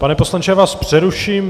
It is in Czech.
Pane poslanče, já vás přeruším.